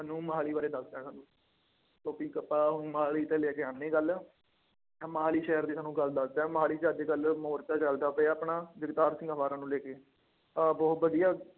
ਨੂੰ ਮੁਹਾਲੀ ਬਾਰੇ ਦੱਸ ਦਿੰਦਾ। ਕਿਉਂਕਿ ਕਿਤਾਬ ਮੁਹਾਲੀ ਤੇ ਲੈ ਕੇ ਆਉਂਦੀ ਗੱਲ, ਇੱਕ ਮੁਹਾਲੀ ਸ਼ਹਿਰ ਦੀ ਤੁਹਾਨੂੰ ਗੱਲ ਦੱਸਦਾਂ, ਮੁਹਾਲੀ ਚ ਅੱਜ ਕੱਲ੍ਹ ਮੋਰਚਾ ਚੱਲਦਾ ਪਿਆ ਆਪਣਾ, ਜਗਤਾਰ ਸਿੰਘ ਹਵਾਰਾ ਨੂੰ ਲੈ ਕੇ ਆਹ ਬਹੁਤ ਵਧੀਆ,